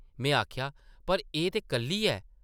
में आखेआ, पर एह् ते कल्ली ऐ ।